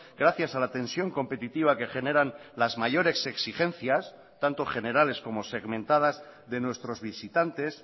gracias a la tensión competitiva que generan las mayores exigencias tanto generales como segmentadas de nuestros visitantes